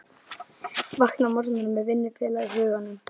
Vakna á morgnana með vinnufélaga í huganum.